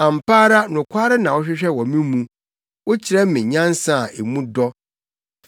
Ampa ara nokware na wohwehwɛ wɔ me mu. Wokyerɛ me nyansa a mu dɔ.